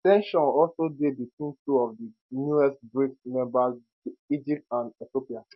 ten sion also dey between two of di newest brics members egypt and ethiopia